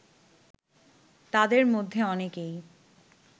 তাদের মধ্যে অনেকেই